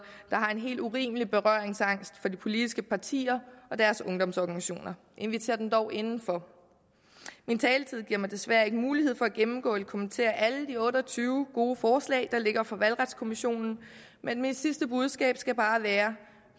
der har en helt urimelig berøringsangst for de politiske partier og deres ungdomsorganisationer invitér dem dog indenfor min taletid giver mig desværre ikke mulighed for at gennemgå og kommentere alle de otte og tyve gode forslag der ligger fra valgretskommissionen men mit sidste budskab skal bare være